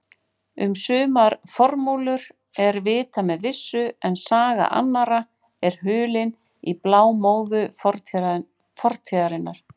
Um sumar formúlur er vitað með vissu en saga annarra er hulin í blámóðu fortíðarinnar.